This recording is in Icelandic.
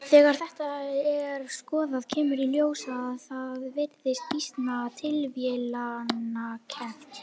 Þegar þetta er skoðað kemur í ljós að það virðist býsna tilviljanakennt.